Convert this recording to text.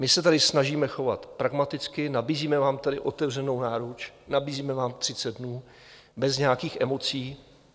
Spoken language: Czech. My se tady snažíme chovat pragmaticky, nabízíme vám tady otevřenou náruč, nabízíme vám 30 dnů bez nějaký emocí.